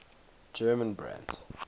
german brands